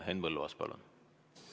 Henn Põlluaas, palun!